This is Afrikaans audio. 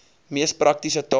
mees praktiese taal